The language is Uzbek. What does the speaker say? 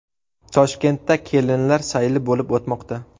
Toshkentda kelinlar sayli bo‘lib o‘tmoqda .